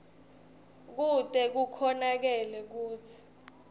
kute kukhonakale kutsi